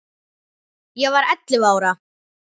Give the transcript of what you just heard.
Ég var ellefu ára.